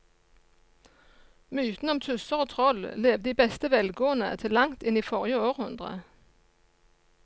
Mytene om tusser og troll levde i beste velgående til langt inn i forrige århundre.